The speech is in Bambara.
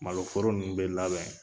Malo foro ninnu bɛ labɛn.